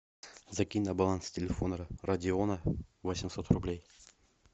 закинь на баланс телефона родиона восемьсот рублей